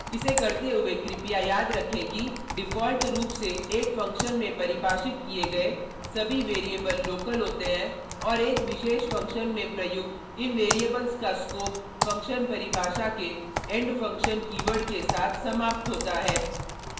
इसे करते हुए कृपया याद रखें कि डिफ़ॉल्ट रूप से एक फंक्शन में परिभाषित किए गए सभी वैरिएबल लोकल होते हैं और एक विशेष फंक्शन में प्रयुक्त इन वैरिएबल्स का स्कोप फंक्शन परिभाषा के end फंक्शन कीवर्ड के साथ समाप्त होता है